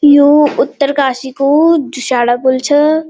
यू उत्तरकाशी कू झुशाड़ा पुल छ।